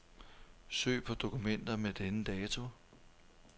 Søg på dokumenter med denne dato.